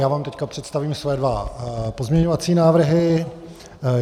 Já vám teď představím své dva pozměňovací návrhy.